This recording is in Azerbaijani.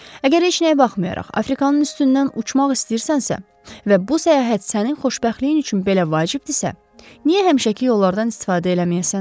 Əgər heç nəyə baxmayaraq, Afrikanın üstündən uçmaq istəyirsənsə, və bu səyahət sənin xoşbəxtliyin üçün belə vacibdirsə, niyə həmişəki yollardan istifadə eləməyəsən?